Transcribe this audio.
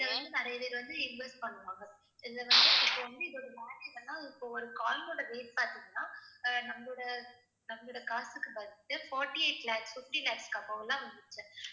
இதுல வந்து நிறைய பேர் வந்து invest பண்ணுவாங்க. இதுல வந்து இப்ப வந்து இதோட இப்ப ஒரு coin ஓட rate பார்த்தீங்கன்னா அஹ் நம்மளோட நம்மளோட காசுக்கு வந்து forty eight lakhs, fifty lakhs above எல்லாம் வந்துருச்சு.